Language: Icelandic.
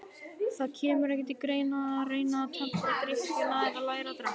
Það kemur ekki til greina að reyna að tempra drykkjuna eða læra að drekka.